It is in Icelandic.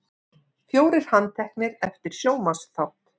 Fjórir handteknir eftir sjónvarpsþátt